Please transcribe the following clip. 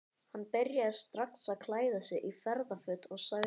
Hann byrjaði strax að klæða sig í ferðaföt og sagði